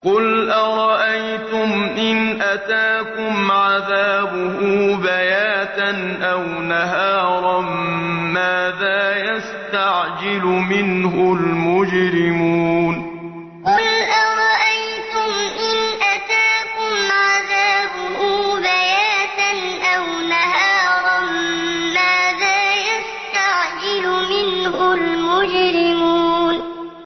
قُلْ أَرَأَيْتُمْ إِنْ أَتَاكُمْ عَذَابُهُ بَيَاتًا أَوْ نَهَارًا مَّاذَا يَسْتَعْجِلُ مِنْهُ الْمُجْرِمُونَ قُلْ أَرَأَيْتُمْ إِنْ أَتَاكُمْ عَذَابُهُ بَيَاتًا أَوْ نَهَارًا مَّاذَا يَسْتَعْجِلُ مِنْهُ الْمُجْرِمُونَ